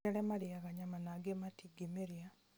nĩ kũrĩ arĩa marĩyaga nyama na angĩ matingĩmĩrĩa